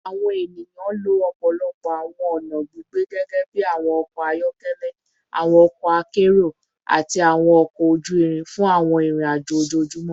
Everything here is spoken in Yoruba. Awọn eniyan lo ọpọlọpọ awọn ọna gbigbe gẹgẹbi awọn ọkọ ayọkẹlẹ, awọn ọkọ akero, ati awọn ọkọ oju irin fun awọn irin-ajo ojoojumọ